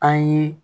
An ye